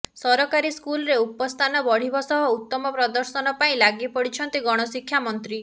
ସରକାରୀ ସ୍କୁଲରେ ଉପସ୍ଥାନ ବଢ଼ିବ ସହ ଉତ୍ତମ ପ୍ରଦର୍ଶନ ପାଇଁ ଲାଗିପଡ଼ିଛନ୍ତି ଗଣଶିକ୍ଷା ମନ୍ତ୍ରୀ